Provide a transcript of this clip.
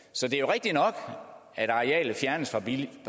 så det er rigtig nok at arealet fjernes